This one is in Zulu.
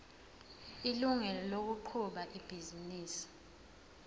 ilungelo lokuqhuba ibhizinisi